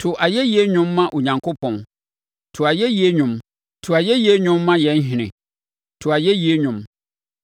To ayɛyie nnwom ma Onyankopɔn, to ayɛyie nnwom; to ayɛyie nnwom ma yɛn Ɔhene, to ayɛyie nnwom.